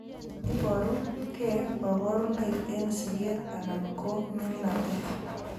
Iboru gee kabarunoik eng' siget anan ko mining'natet .